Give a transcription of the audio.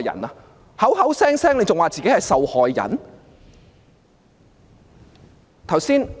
他還口口聲聲說自己是受害人。